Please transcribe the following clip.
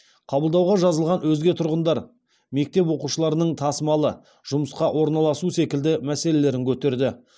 қабылдауға жазылған өзге тұрғындар мектеп оқушыларының тасымалы жұмысқа орналасу секілді мәселелерін көтерді